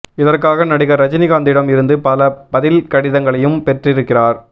இதற்காக நடிகர் ரஜினிகாந்திடம் இருந்து பல பதில் கடிதங்களையும் பெற்றிருக்கிறார்